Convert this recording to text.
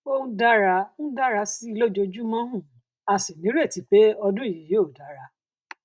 ó ń dára ń dára sí i lójoojúmọ um a sì níretí pé ọdún yìí yóò dára